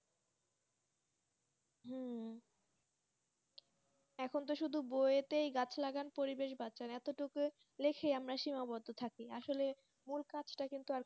এখন তো শুধু বই এর তেই গাছ লাগান পরিবেশ বাঁচান এটো টুকু লেখে আমরা সীমাবদ্ধ থাকি আসলে ওই কাজতা সেই রকম করিনা